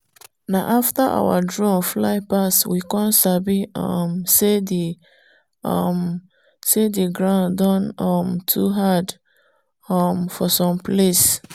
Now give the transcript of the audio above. na after our drone fly pass we dome sabi um say the um say the ground don um too hard um for some place.